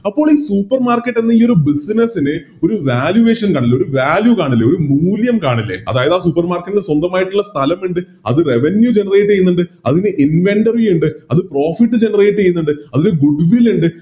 അപ്പോളി Supermarket എന്ന ഈയൊരു Business നെ ഒരു Valuation അല്ലെ ഒരു Value കാണില്ലേ ഒരു മൂല്യം കാണില്ലേ അതായത് ആ Supermarket ന് സ്വന്തമായിട്ടില്ല സ്ഥലം ഇണ്ട് അത് Revenue generate ചെയ്യുന്നുണ്ട് അതിന് Inventory ഇണ്ട് അത് Profit generate ചെയ്യുന്നുണ്ട് അതിന് Building ഇണ്ട്